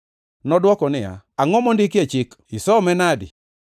Nodwoko niya, “Angʼo mondiki e chik? Isome nade?”